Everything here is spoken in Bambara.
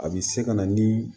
A bi se ka na ni